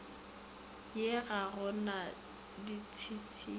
ee ga go na ditšhitišo